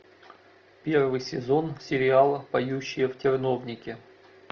первый сезон сериала поющие в терновнике